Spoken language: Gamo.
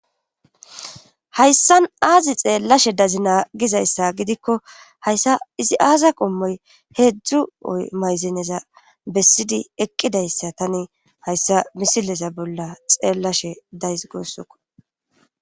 Hayssan aazi xeellashe dazi naagizayssa gidikko hayssa izi aasa qommoy heedzdzu oy mayzeneza bessidi eqqidayssa tani hayssa misilesa bolla xeellashe days goossokko.